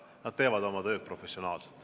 Nad teevad oma tööd professionaalselt.